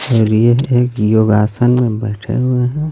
और यह एक योगासन मे बैठे हुए हे.